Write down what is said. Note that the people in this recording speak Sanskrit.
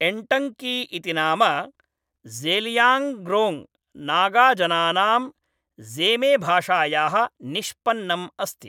एन्टङ्की इति नाम ज़ेलियाङ्ग्रोङ्ग् नागाजनानाम् ज़ेमेभाषायाः निष्पन्नम् अस्ति।